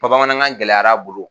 bamanankan gɛlɛyara a bolo